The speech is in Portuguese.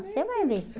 Você vai ver.